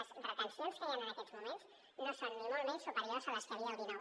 les retencions que hi han en aquests moments no són ni molt menys superiors a les que hi havia el dinou